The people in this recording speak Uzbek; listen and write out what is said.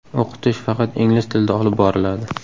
O‘qitish faqat ingliz tilida olib boriladi.